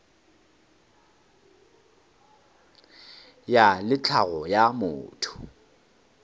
ya le tlhago ya motho